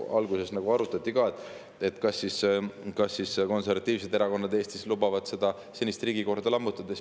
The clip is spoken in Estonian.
Alguses ju ka arutati, kas siis konservatiivsed erakonnad Eestis lubavad senist riigikorda lammutada.